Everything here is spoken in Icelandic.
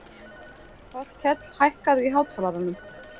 Þorkell, hækkaðu í hátalaranum.